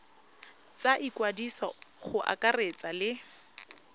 tsa ikwadiso go akaretsa le